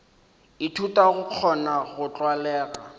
ithuta go kgona go tlwalega